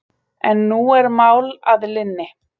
En nú er mál að linni.